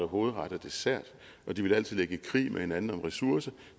hovedret og dessert og de ville altid ligge i krig med hinanden om ressourcer